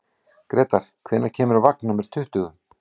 Grétar, hvenær kemur vagn númer tuttugu?